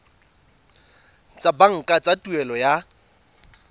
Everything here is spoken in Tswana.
tsa banka tsa tuelo ya